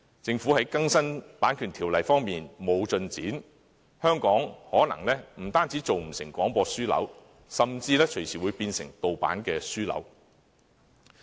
政府在更新《版權條例》方面沒有進展，香港可能不單做不成廣播樞紐，甚至隨時會變成盜版樞紐。